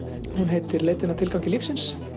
sem heitir leitin að tilgangi lífsins